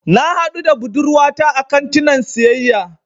Na haɗu da budurwata a kantinan siyayya.